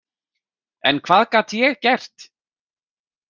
En hvað gat ég gert?